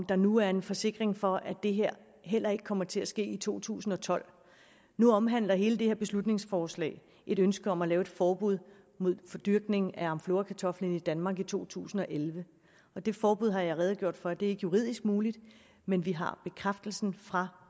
der nu er en forsikring for at det her heller ikke kommer til at ske i to tusind og tolv nu omhandler hele det her beslutningsforslag et ønske om at lave et forbud mod dyrkning af amflorakartoflen i danmark i to tusind og elleve og det forbud har jeg redegjort for ikke er juridisk muligt men vi har bekræftelsen fra